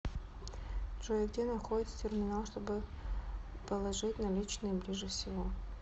джой где находится терминал чтобы положить наличные ближе всего